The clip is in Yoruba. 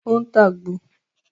O ń tá àgbo